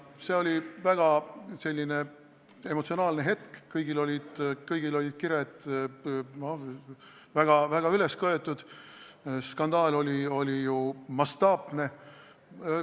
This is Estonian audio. See oli selline väga emotsionaalne hetk, kõigil olid kired väga üles köetud, skandaal oli ju mastaapne.